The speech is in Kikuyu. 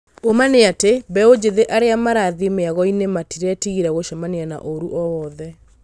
ũũma nĩ atĩ mbeũ njĩthĩ arĩa marathĩĩ mĩagoinĩ matiretigēra gũcemania na ũru o wothe.